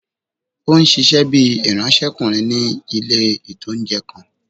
Ó n ṣiṣẹ́ bíi ìránsẹ́kùnrin ní ilé-ìtánjẹ kan